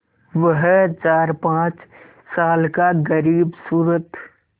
वह चारपाँच साल का ग़रीबसूरत